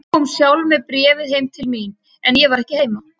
Eva kom sjálf með bréfið heim til mín, en ég var ekki heima.